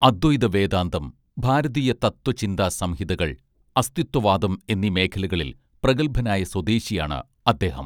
അദ്വൈത വേദാന്തം ഭാരതീയ തത്വചിന്താസംഹിതകൾ അസ്ഥിത്വവാദം എന്നീ മേഖലകളിൽ പ്രഗത്ഭനായ സ്വദേശിയാണ് അദ്ദേഹം